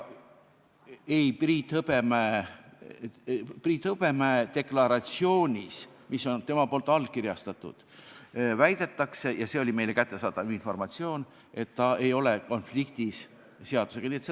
Priit Hõbemäe deklaratsioonis, mille ta on allkirjastanud, väidetakse – ja see oli meile kättesaadav informatsioon –, et ta ei ole seadusega konfliktis.